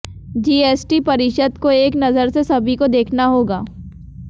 GST परिषद को एक नजर से सभी को देखना होगा